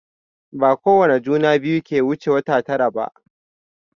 Bakowane juna biyu ke wuce wata tara ba.